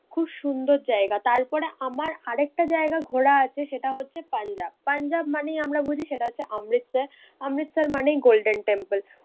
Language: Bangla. খুব সুন্দর জায়গা। তারপরে আমার আরেকটা জায়গা ঘোরা আছে সেটা হচ্ছে পাঞ্জাব। পাঞ্জাব মানেই আমরা বুঝি সেটা হচ্ছে অমৃতসর, অমৃতসর মানেই golden temple